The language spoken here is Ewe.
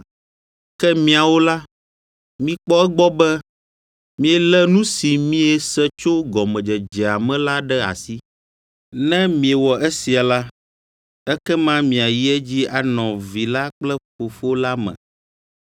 Ke miawo la, mikpɔ egbɔ be mielé nu si miese tso gɔmedzedzea me la ɖe asi. Ne miewɔ esia la, ekema miayi edzi anɔ Vi la kple Fofo la me.